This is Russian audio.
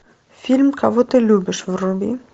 фильм кого ты любишь вруби